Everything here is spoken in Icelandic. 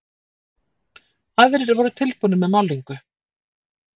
Aðrir voru tilbúnir með málningu.